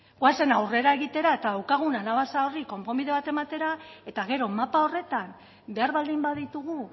goazen aurrera egitera eta daukagun anabasa horri konponbide bat egitera eta gero mapa horretan behar baldin baditugu